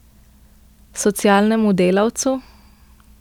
Socialnemu delavcu?